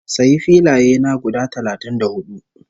Sayi filaye na guda talatin da hudu